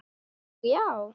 Nú, já!